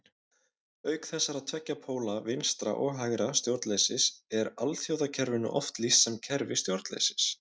Auk þessara tveggja póla vinstra- og hægra stjórnleysis er alþjóðakerfinu oft lýst sem kerfi stjórnleysis.